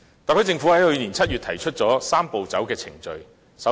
特區政府在去年7月提出了"三步走"的程序。